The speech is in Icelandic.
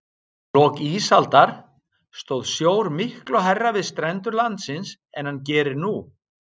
Í lok ísaldar stóð sjór miklu hærra við strendur landsins en hann gerir nú.